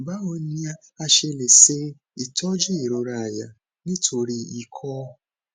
báwo ni a ṣe lè se itojú irora aya nítorí ikọ